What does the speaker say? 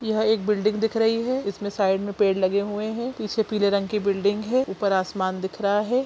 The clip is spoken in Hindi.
यह एक बिल्डिंग दिख रही हैं इसमे साइड मे पेड़ लगे हुए हैं पीछे पीले रंग की बिल्डिंग हैं ऊपर आसमान दिख रहा हैं ।